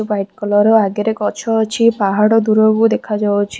White colour ର ଆଗରେ ଗଛ ଅଛି ପାହାଡ ଦୂରକୁ ଦେଖାଯାଉଛି।